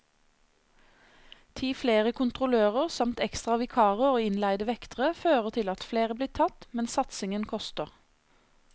Ti flere kontrollører, samt ekstra vikarer og innleide vektere, fører til at flere blir tatt, men satsingen koster.